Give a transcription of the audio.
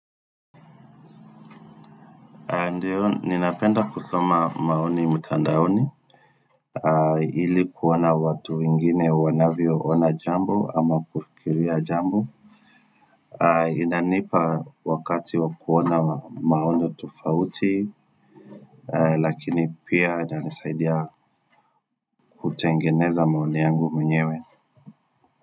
Ndiyo, ninapenda kusoma maoni mtandaoni, ilikuona watu wengine wanavyo ona jambo ama kufikiria jambo. Inanipa wakati wakuona maono tofauti, lakini pia inanisaidia kutengeneza maoni yangu mwenyewe.